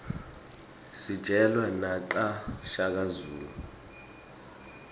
sijelwa naqa shaka zulu